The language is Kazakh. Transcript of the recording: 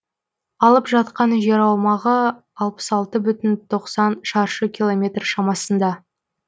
алып жатқан жер аумағы алпыс алты бүтін тоқсан шаршы километр шамасында